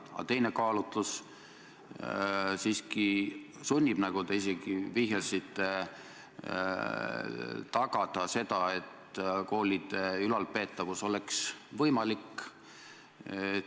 Aga teine kaalutlus siiski sunnib, nagu te isegi vihjasite, tagama seda, et koole oleks võimalik ülal pidada.